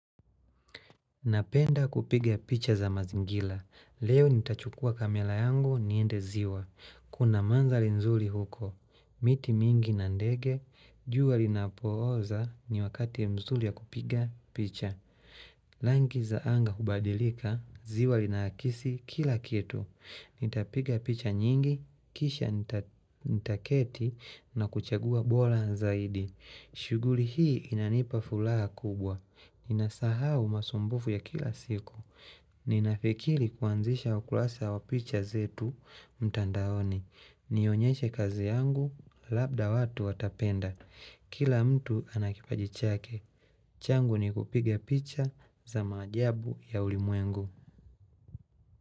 Napenda kupiga picha za mazingira Leo nitachukua kamera yangu niende ziwa Kuna mandhari nzuri huko. Miti mingi na ndege jua linapooza ni wakati mzuri wa kupiga picha Rangi za anga hubadilika, ziwa linaakisi kila kitu. Nitapiga picha nyingi, kisha nitaketi na kuchagua bora zaidi. Shughuli hii inanipa furaha kubwa. Ninasahau masumbufu ya kila siku. Ninafikiri kuanzisha ukurasa wa picha zetu mtandaoni. Nionyeshe kazi yangu, labda watu watapenda. Kila mtu ana kipaji chake. Changu ni kupiga picha za maajabu ya ulimwengu.